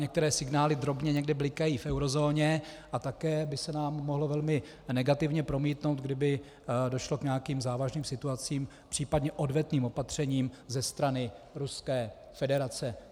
Některé signály drobně někde blikají v eurozóně a také by se nám mohlo velmi negativně promítnout, kdyby došlo k nějakým závažným situacím, příp. odvetným opatřením ze strany Ruské federace.